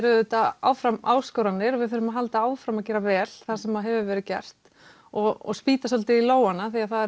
auðvitað áfram áskoranir við þurfum að halda áfram að gera vel það sem hefur verið gert og spýta svolítið í lófana því það